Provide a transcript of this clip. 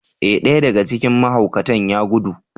Ee! ɗaya daga cikin mahaukatan ya gudu.